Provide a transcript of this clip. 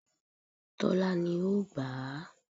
Tólá ni ó gbà á